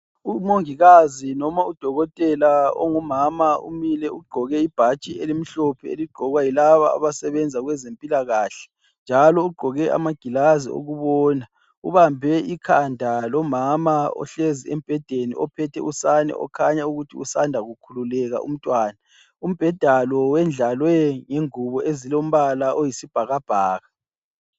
Umongikazi noma udokotela ongumama umile ugqoke ibhatshi elimhlophe eligqokwa yilaba abasebenza kwezempilakahle njalo ugqoke amagilazi okubona. Ubambe ikhanda lomama ohlezi embhedeni ophethe usane okhanya ukuthi usanda kukhululeka umntwana. Umbheda lo wendlalwe ngengubo ezilombala oyisibhakabhaka.